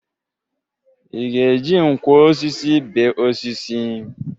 Ị ga-eji nkwọ osisi bee osisi?